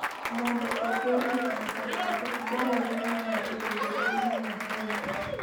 Mondo oger gik ma kamago, dwarore ni ng'ato obed gi lony ahinya.